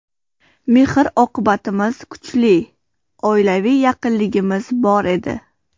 Mehr-oqibatimiz kuchli, oilaviy yaqinligimiz bor edi.